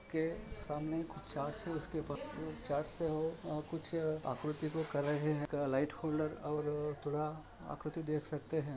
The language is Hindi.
के कुछ चार्ट्स है उसके पत्ते अ अ कुछ अ अ आकृती कर राहै है लाइट होल्डर और थोडा अ अ आकृती देख सकते है।